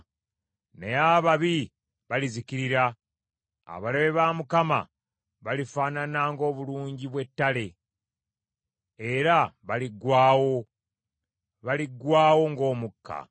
Naye ababi balizikirira; abalabe ba Mukama balifaanana ng’obulungi bwe ttale, era baliggwaawo, baliggwaawo ng’omukka.